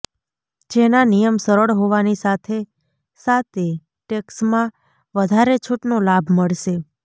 જેના નિયમ સરળ હોવાની સાથે સાતે ટેક્સમાં વધારે છૂટનો લાભ મળશે